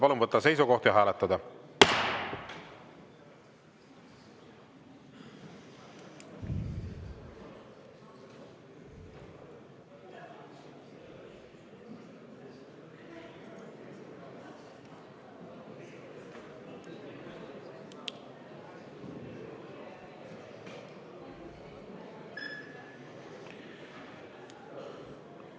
Palun võtta seisukoht ja hääletada!